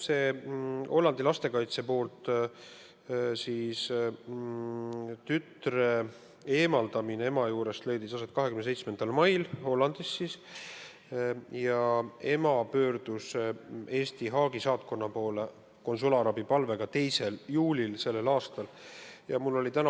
Hollandi lastekaitse eemaldas tütre ema juurest 27. mail ja ema pöördus Haagis asuva Eesti saatkonna poole konsulaarabipalvega selle aasta 2. juulil.